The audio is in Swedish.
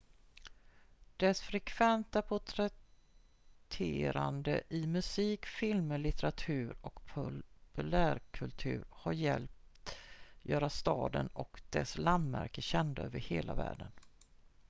dess frekventa porträtterande i musik filmer litteratur och populärkultur har hjälpt göra staden och dess landmärken kända över hela världen